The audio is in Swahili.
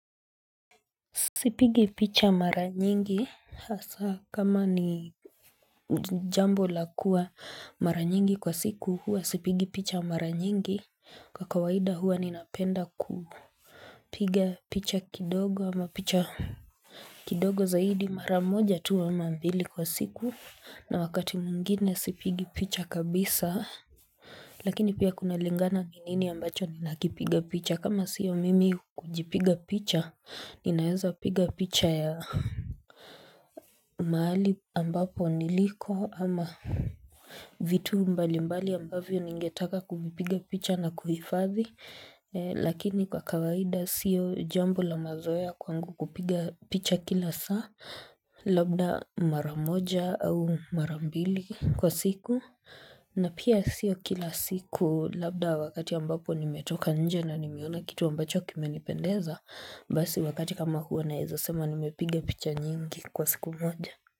Sipigi picha mara nyingi hasa kama ni jambo la kuwa mara nyingi kwa siku huwa sipigi picha mara nyingi kwa kawaida huwa ninapenda ku piga picha kidogo ama picha kidogo zaidi mara moja tu ama mbili kwa siku na wakati muingine sipigi picha kabisa Lakini pia kuna lingana ni nini ambacho ni nakipiga picha kama sio mimi kujipiga picha ninaeza piga picha ya mahali ambapo niliko ama vitu mbali mbali ambavyo ningetaka kuvipiga picha na kuhifadhi Lakini kwa kawaida sio jambo la mazoya kwangu kupiga picha kila saa labda maramoja au marambili kwa siku na pia sio kila siku labda wakati ambapo nimetoka nje na nimeona kitu ambacho kimenipendeza basi wakati kama huwo naezasema nimepiga picha nyingi kwa siku moja.